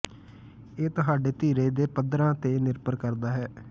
ਇਹ ਤੁਹਾਡੇ ਧੀਰਜ ਦੇ ਪੱਧਰਾਂ ਤੇ ਨਿਰਭਰ ਕਰਦਾ ਹੈ